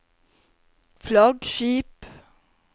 flaggskip